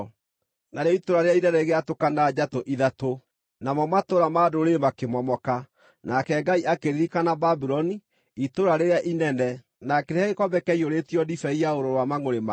Narĩo itũũra rĩrĩa inene rĩgĩatũkana njatũ ithatũ, namo matũũra ma ndũrĩrĩ makĩmomoka. Nake Ngai akĩririkana Babuloni itũũra rĩrĩa inene, na akĩrĩhe gĩkombe kĩaiyũrĩtio ndibei ya ũrũrũ wa mangʼũrĩ make.